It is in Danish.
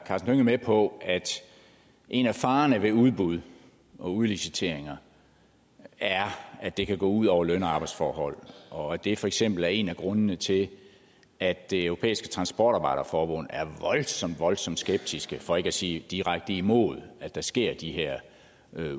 med på at en af farerne ved udbud og udliciteringer er at det kan gå ud over løn og arbejdsforhold og at det for eksempel er en af grundene til at det europæiske transportarbejderforbund er voldsomt voldsomt skeptisk for ikke at sige direkte imod at der sker de her